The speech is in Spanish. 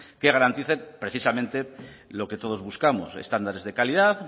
que garanticen precisamente lo que todos buscamos estándares de calidad